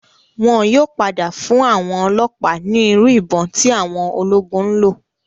Wọn yóò padà fún àwọn ọlọ́ọ̀pá ní Irú ìbọn tí àwọn ológun ńlò.